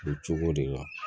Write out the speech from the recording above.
O cogo de la